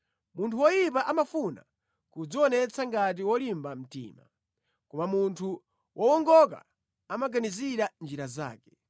Munthu woyipa amafuna kudzionetsa ngati wolimba mtima, koma munthu wowongoka amaganizira njira zake.